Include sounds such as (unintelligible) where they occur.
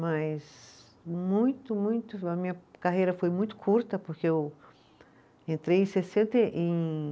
Mas muito muito (unintelligible) a minha carreira foi muito curta, porque eu entrei em sessenta e, em